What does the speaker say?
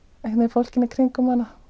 fólkinu í kringum hana